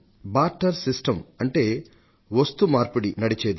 barter system నడిచేది